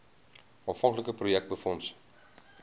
aanvanklike projek befonds